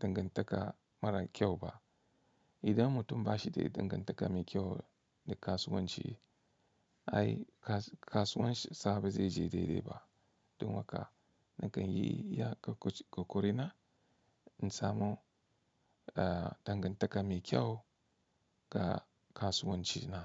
dangantaka mara kyau ba. Idan mutum ba shi da dangantaka mai kyau da kasuwanci, ai kasuwancin sa ba zai je dai-dai ba. Don haka nakan yi iya ƙoƙari na in samu dangantaka mai kyau ga kasuwanci na.